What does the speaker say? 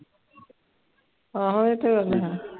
ਆਹੋ ਇਹ ਤੇ ਗੱਲ ਹੈ।